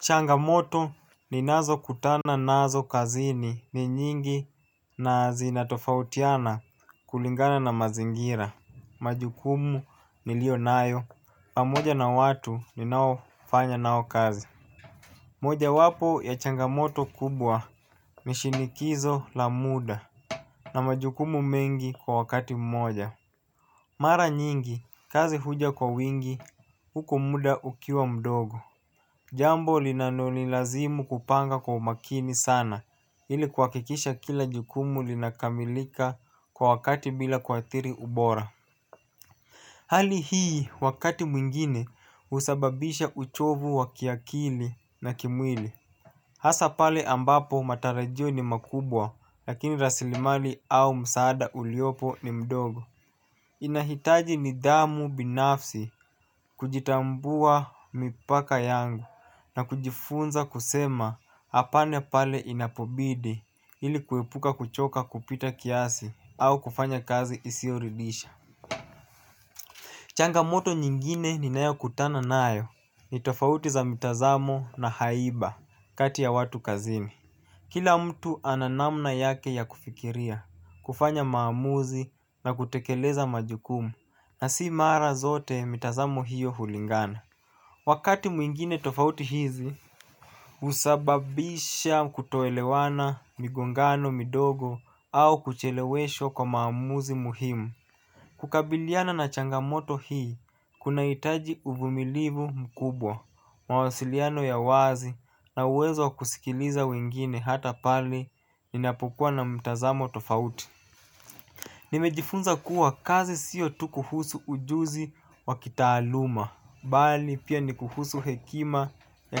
Changamoto ninazo kutana nazo kazini ni nyingi na zinatofautiana kulingana na mazingira. Majukumu niliyo nayo pamoja na watu ni nao fanya nao kazi. Moja wapo ya changamoto kubwa ni shinikizo la muda na majukumu mengi kwa wakati mmoja. Mara nyingi kazi huja kwa wingi huku muda ukiwa mdogo. Jambo linalo ni lazimu kupanga kwa makini sana ili kwa kuhakikisha kila jukumu linakamilika kwa wakati bila kwa adhiri ubora. Hali hii wakati mwingine husababisha uchovu wa kiakili na kimwili. Hasa pale ambapo matarajio ni makubwa lakini rasilimali au msaada uliopo ni mdogo. Inahitaji nidhamu binafsi kuitambua mipaka yangu na kujifunza kusema apana pale inapobidi ili kuepuka kuchoka kupita kiasi au kufanya kazi isioridhisha changamoto nyingine ninayo kutana nayo ni tofauti za mitazamo na haiba kati ya watu kazini. Kila mtu ana namna yake ya kufikiria, kufanya maamuzi na kutekeleza majukumu na si mara zote mitazamo hiyo hulingana. Wakati mwingine tofauti hizi husababisha kutoelewana migongano midogo au kuchelewesho kwa maamuzi muhimu. Kukabiliana na changamoto hii, kuna hitaji uvumilivu mkubwa, mawasiliano ya wazi na uwezo wa kusikiliza wengine hata pale ninapokua na mtazamo tofauti. Nimejifunza kuwa kazi siyo tu kuhusu ujuzi wa kitaaluma, bali pia ni kuhusu hekima ya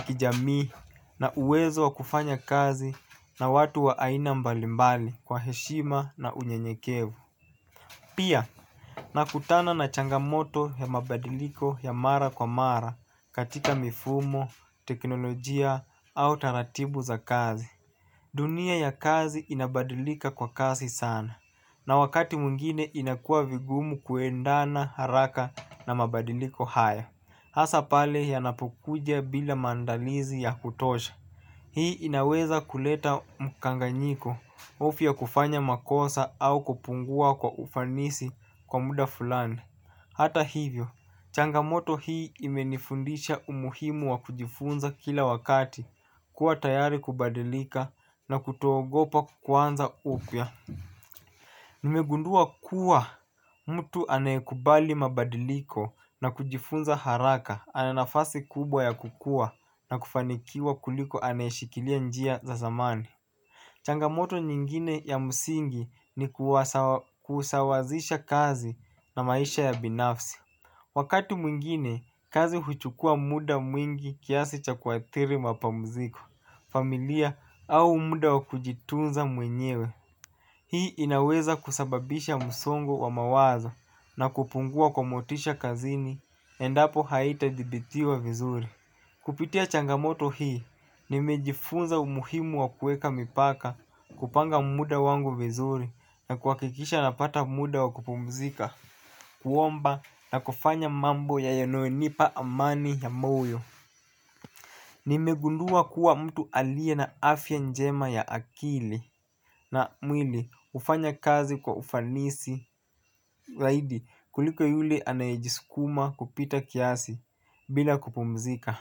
kijamii na uwezo wa kufanya kazi na watu wa aina mbalimbali kwa heshima na unyenyekevu. Pia nakutana na changamoto ya mabadiliko ya mara kwa mara katika mifumo, teknolojia au taratibu za kazi. Dunia ya kazi inabadilika kwa kasi sana na wakati mwingine inakua vigumu kuendana haraka na mabadiliko haya. Hasa pale yanapo kuja bila maandalizi ya kutosha. Hii inaweza kuleta mkanganyiko hofu ya kufanya makosa au kupungua kwa ufanisi kwa muda fulani. Hata hivyo, changamoto hii imenifunza umuhimu wa kujifunza kila wakati kuwa tayari kubadilika na kuto ogopa kuanza upya. Nimegundua kuwa mtu anayekubali mabadiliko na kujifunza haraka ana nafasi kubwa ya kukua na kufanikiwa kuliko anaye shikilia njia za zamani. Changamoto nyingine ya musingi ni kusawazisha kazi na maisha ya binafsi. Wakati mwingine kazi huchukua muda mwingi kiasi cha kuadhiri mapumuziko familia au muda wakujitunza mwenyewe. Hii inaweza kusababisha msongo wa mawazo na kupungua kwa motisha kazini endapo haita jibitiwa vizuri. Kupitia changamoto hii, nimejifunza umuhimu wa kueka mipaka kupanga muda wangu vizuri na kuhakikisha napata muda wa kupumzika kuomba na kufanya mambo yanayonipa amani ya moyo. Nimegundua kuwa mtu alia na afya njema ya akili na mwili hufanya kazi kwa ufanisi zaidi kuliko yule anayejisukuma kupita kiasi bila kupumzika.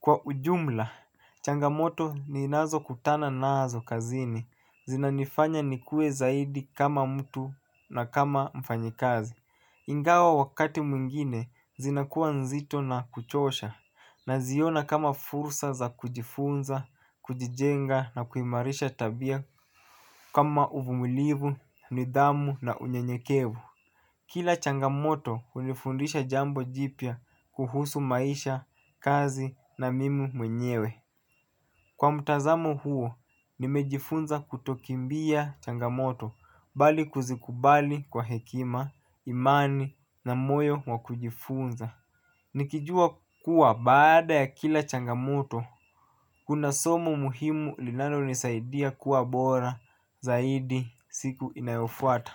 Kwa ujumla, changamoto ninazo kutana nazo kazini. Zinanifanya nikuwe zaidi kama mtu na kama mfanyakazi ingawa wakati mwingine zinakuwa nzito na kuchosha naziona kama fursa za kujifunza, kujijenga na kuimarisha tabia kama uvumilivu, nidhamu na unyenyekevu. Kila changamoto hunifundisha jambo jipya kuhusu maisha, kazi na mimi mwenyewe. Kwa mtazamo huo, nimejifunza kutokimbia changamoto. Bali kuzikubali kwa hekima, imani na moyo wakujifunza nikijua kuwa baada ya kila changamoto kuna somo muhimu linalo nisaidia kuwa bora zaidi siku inayofuata.